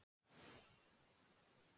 Skólaflötum